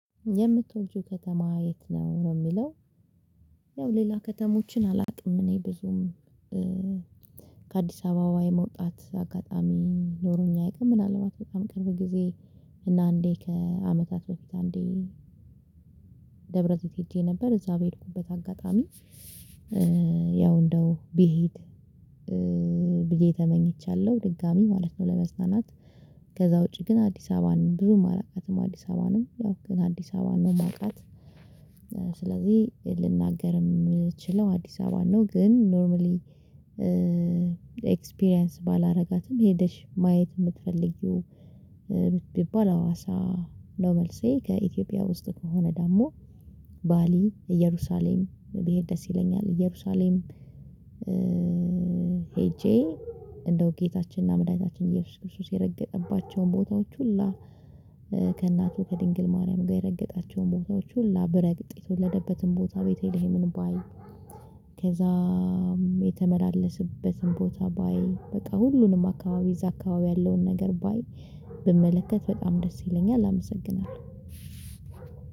የምትወጂው ከተማ የት ነው ነው የሚለው ያው ሌላ ከተሞችን አላቅም እኔ ብዙም ከአዲስ አበባ የመውጣት አጋጣሚ ኖሮኝ አያቅም ምናልባት በጣም ቅርብ ጊዜ እና አንዴ ከአመታት በፊት አንዴ ደብረዘብ ሄጄ ነበር እዛ በሄድኩበት አጋጣሚ ያው እንደው ብሄድ ብዬ ተመኝቻለሁ ድጋሚ ማለት ነው ለመዝናናት ከዛ ውጪ ግን አዲስ አበባን ብዙም አላቃትም አዲስ አበባንም ያው ግን አዲስ አበባን ነው ማቃት የማውቃት ስለዚህ ልናገርም ችለው አዲስ አበባ ነው ግን ኖርማሊ ኤክስፒሪያንስ ባላደረጋትም ሄደሽ ማየት የምትፈልጊው ብባል ሀዋሳ ነው መልሴ ከኢትዮጵያ ውስጥ ከሆነ ደግሞ ባሊ እየሩሳሌም ብድሄ ደስ ይለኛል እየሩሳሌም ሄጄ እንደው ጌታችንና መድኃኒታችን ኢየሱስ ክርስቶስ የረገጠባቸውን ቦታዎች ሁላ ከእናቱ ከድንግል ማርያም ጋር የረገጣቸውን ቦታዎች ሁላ ብረገጥ የተወለደበትን ቦታ ቤተልሄምን ባይ ከዛም የተመላለስበትን ቦታ ባይ በቃ ሁሉንም አካባቢ እዛ አካባቢ ያለውን ነገር ባይ ብመለከት በጣም ደስ ይለኛል አመሰግናለሁ።